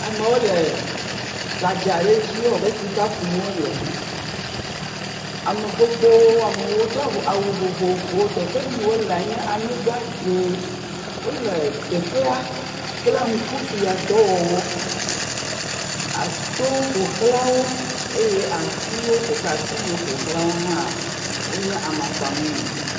Amewo le gbadza ɖe dzi ewɔ be sika kum wole. Ame gbogbowo amewo, wodo avɔ awu vovovowo. Teƒe yi wolea nye anyigba dzẽ. Wole teƒea kple ŋkubiãdɔwɔwɔ a towo ƒo xlã wo eye atiwo ƒo xlã, ati yiwo ƒo xlãwo hã wonye amakpa mumu.